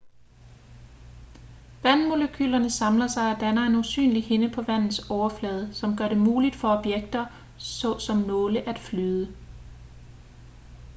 vandmolekylerne samler sig og danner en usynlig hinde på vandets overflade som gør det muligt for objekter såsom nåle at flyde